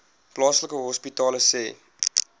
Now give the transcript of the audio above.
plaaslike hospitale sê